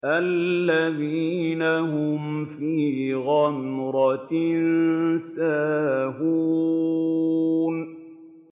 الَّذِينَ هُمْ فِي غَمْرَةٍ سَاهُونَ